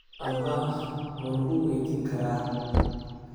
Amaah ma lagu weydiin karaa?